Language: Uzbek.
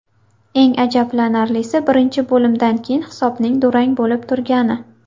Eng ajablanarlisi, birinchi bo‘limdan keyin hisobning durang bo‘lib turgani”.